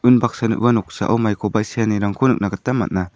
unbaksana ua noksao maikoba seanirangko nikna gita man·a.